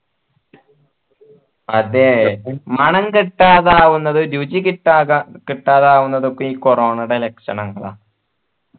അതെ മണം കിട്ടാതാവുന്നത് രുചി കിട്ടാതാവുന്നത് ഒക്കെ ഈ corona ൻ്റെ ലക്ഷണങ്ങള